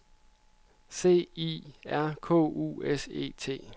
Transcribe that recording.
C I R K U S E T